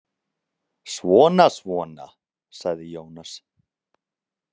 Svona svona, sagði Jónas.